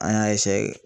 An y'a